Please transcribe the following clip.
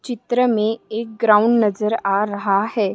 चित्र मे एक ग्राउंड नजर आ रहा है।